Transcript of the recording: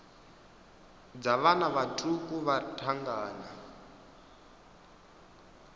dza vhana vhaṱuku vha thangana